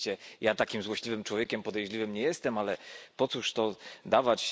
Oczywiście ja takim złośliwym człowiekiem podejrzliwym nie jestem, ale po cóż to dawać.